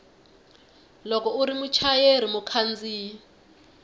loko u ri muchayeri mukhandziyi